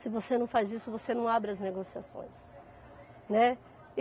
Se você não faz isso, você não abre as negociações, né. E